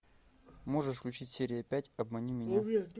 можешь включить серия пять обмани меня